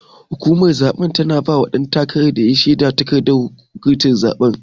Hukumar zabe tana bawa duk dan takaran da yayi nasara takardar shedar.